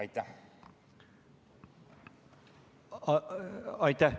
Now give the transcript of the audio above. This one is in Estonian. Aitäh!